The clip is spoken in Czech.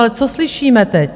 Ale co slyšíme teď?